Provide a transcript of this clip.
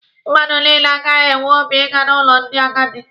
Mmadụ niile anaghị enwe obi ịga n'ụlọ ndị agadi.